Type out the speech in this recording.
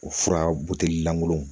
O fura buteli langolo